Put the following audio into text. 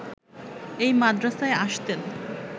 এই মাদ্রাসায় আসতেন